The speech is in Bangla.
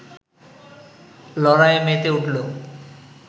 লড়াইয়ে মেতে উঠল